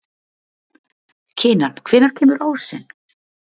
Kinan, hvenær kemur ásinn?